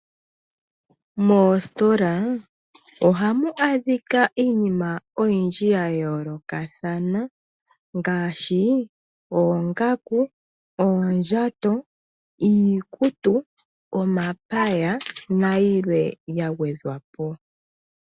Mooositola ohamu adhika iinima oyindji ya yoolokathana ngaashi oongaku ,oondjato iikutu omapaya nayilwe ya gwedhwa po.